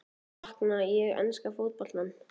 Sakna ég enska fótboltans?